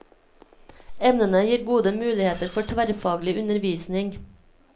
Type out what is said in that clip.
Emnene gir gode muligheter for tverrfaglig undervisning.